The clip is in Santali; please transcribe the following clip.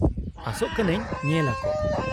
-ᱟᱥᱚᱜ ᱠᱟᱹᱱᱟᱹᱧ ᱧᱮᱞ ᱟᱠᱚ ᱾